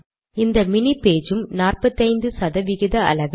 இந்த மினி பக்கமும் 45 சதவிகித அளவே